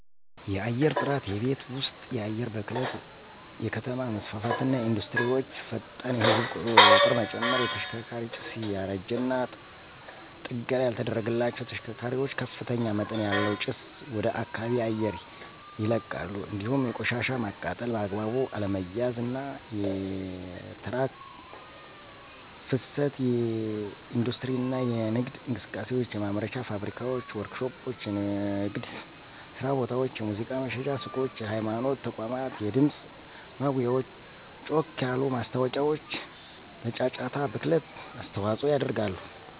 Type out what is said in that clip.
_የአየርጥራት የቤት ወስጥ የአየር ብክለት ብክለት_የከተማ መስፋፋትና ኢንዱስትሪወቸ፣ ፈጣን የህዝብ ቂጥርመጨመር። _የሽከርካሪ ጭስ ያረጂና ጠገና ያልተደረገላቸዉ ተሽከርካሪዋች ከፍተኛመጠን ያለዉ ጭስ ወደከባቢ አየር ይለቃል እንዲሁም የቆሻሻ ማቃጠል በአግባቡ አለመያዝ፣ አና የትራክ ፍሰት የኢንዲስትሪ እና የነግድ እንቅሰቃሴዎች፣ የማምረቻ ፋብሪካዋች፣ ወርክሾፖች፣ የንግድየስራቦታወች፣ የሙዚቃ መሽጫ ሱቆች፣ የሀይማኖት ተቋማት የድምጽ ማጉያወች ጮክ ያሉ ማስታወቂያዎችለጫጫታ ብክለት አስተዋጾ ያደርጋሉ።